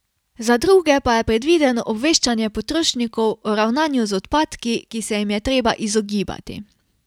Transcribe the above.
Za druge pa je predvideno obveščanje potrošnikov o ravnanju z odpadki, ki se jim je treba izogibati.